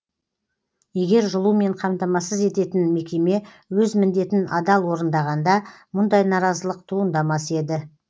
егер жылумен қамтамасыз ететін мекеме өз міндетін адал орындағанда мұндай наразылық туындамас еді